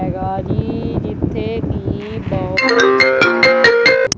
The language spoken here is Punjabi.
ਹੈਗਾ ਜੀ ਜਿੱਥੇ ਬੀ ਬਲੋਕ --